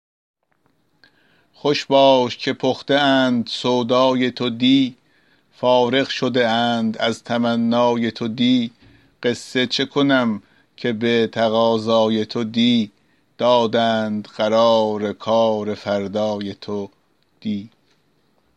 خوش باش که پخته اند سودای تو دی فارغ شده اند از تمنای تو دی قصه چه کنم که به تقاضای تو دی دادند قرار کار فردای تو دی